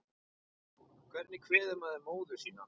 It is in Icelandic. Hvernig kveður maður móður sína?